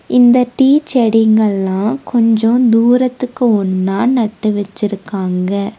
இந்த டீ செடிங்கள்ளா கொஞ்ச தூரத்துக்கு ஒன்னா நட்டு வச்சிருக்காங்க.